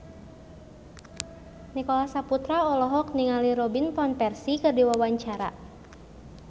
Nicholas Saputra olohok ningali Robin Van Persie keur diwawancara